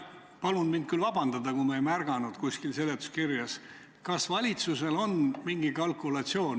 Palun mind vabandada, kui ma seda seletuskirjas ei märganud, aga kas valitsusel on tehtud mingisugune kalkulatsioon?